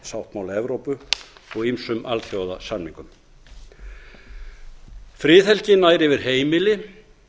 mannréttindasáttmála evrópu og ýmsum alþjóðasamningum friðhelgin nær yfir heimili